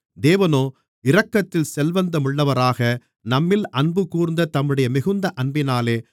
தேவனோ இரக்கத்தில் செல்வந்தமுள்ளவராக நம்மில் அன்புகூர்ந்த தம்முடைய மிகுந்த அன்பினாலே